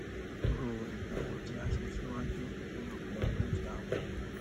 ro ináwó tí a ṣe síwájú ní òpin ọdún tí a wà